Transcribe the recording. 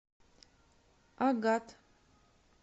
агат